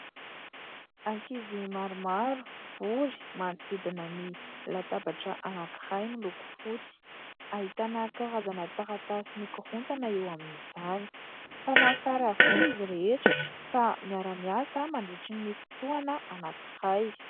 Ankizy maromaro mivory manodidina ny latabatra anankiray miloko fotsy, ahitana karazana taratasy mikorontana eo amin'izany, mpanao sary avokoa izy rehetra ka miara-miasa mandritra ny fotoana anankiray.